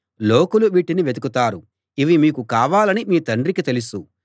లోకులు వీటిని వెతుకుతారు ఇవి మీకు కావాలని మీ తండ్రికి తెలుసు